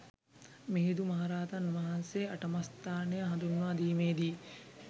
මිහිඳු මහරහතන් වහන්සේ අටමස්ථානය හඳුන්වා දීමේ දී